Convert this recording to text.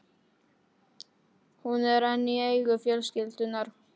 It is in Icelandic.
Hún er enn í eigu fjölskyldunnar.